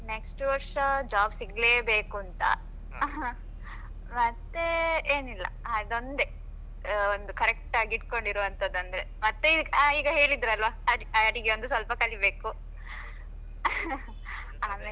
Next ವರ್ಷ job ಸಿಗ್ಲೇ ಬೇಕುಂತ ಮತ್ತೆ ಮತ್ತೆ ಏನಿಲ್ಲ ಅದೊಂದೇ correct ಆಗಿ ಇಟ್ಕೊಂಡ್ ಇರುವಂತದಂದ್ರೆ ಮತ್ತೆ ಈಗ ಹೇಳಿದ್ರಲ್ವಾ ಅಡಿಗೇ ಒಂದ್ ಸ್ವಲ್ಪ ಕಲಿಬೇಕು ಆಮೇಲೆ?